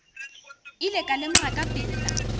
ile ka lemoga ka pela